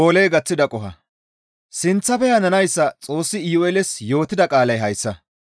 Sinththafe hananayssa Xoossi Iyu7eeles yootida qaalay hayssa;